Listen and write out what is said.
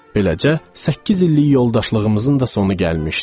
Beləcə, səkkiz illik yoldaşlığımızın da sonu gəlmişdi.